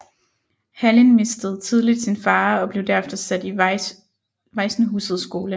Hallin mistede tidligt sin far og blev derefter sat i Vajsenhusets skole